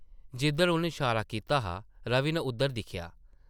जिद्धर उन्न शारा कीता हा रवि नै उद्धर दिक्खेआ ।